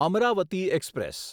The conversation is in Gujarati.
અમરાવતી એક્સપ્રેસ